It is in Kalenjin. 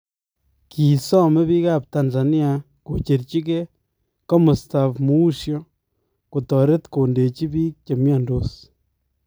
Kisoome biikab Tanzania kocherchikee komastab muusyoo kotoret kondeechi biik chemyandos